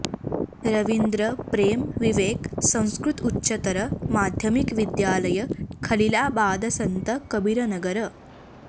रविन्द्र प्रेम विवेक संस्कृत उच्चतर माध्यमिक विद्यालय खलीलाबाद सन्त कबीरनगर